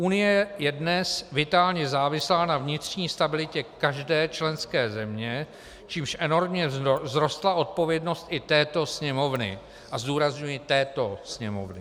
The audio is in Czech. Unie je dnes vitálně závislá na vnitřní stabilitě každé členské země, čímž enormně vzrostla odpovědnost i této Sněmovny - a zdůrazňuji této Sněmovny.